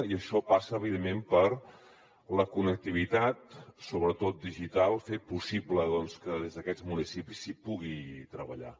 i això passa evidentment per la connectivitat sobretot digital fer possible que des d’aquests municipis s’hi pugui treballar